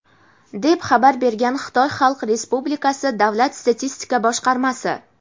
deb xabar bergan Xitoy Xalq Respublikasi Davlat statistika boshqarmasi.